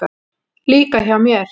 Líka hjá mér.